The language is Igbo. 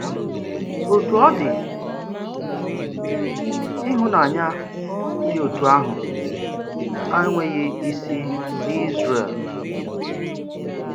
Òtù ọ dị, ịhụnànyà dị otú ahụ ànweghị isi n’Ízrel.